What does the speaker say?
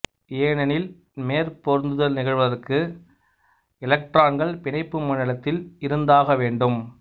ஏனெனில் மேற்பொருந்துதல் நிகழ்வதற்கு எலக்ட்ரான்கள் பிணைப்பு மண்டலத்தில் இருந்தாக வேண்டும்